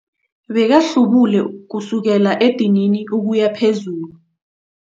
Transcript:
Bbekahlubule kusukela edinini ukuya phezulu.